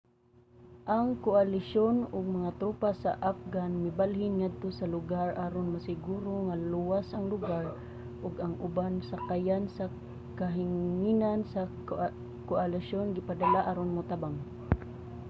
ang koalisyon ug mga tropa sa afghan mibalhin ngadto sa lugar aron masiguro nga luwas ang lugar ug ang ubang sakayan sa kahanginan sa koalisyon gipadala aron motabang